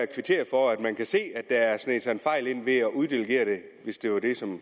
kvitterer for at man kan se at der har sneget sig en fejl ind ved at uddelegere det hvis det er det som